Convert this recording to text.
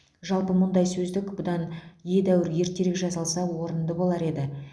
жалпы мұндай сөздік бұдан едәуір ертерек жасалса орынды болар еді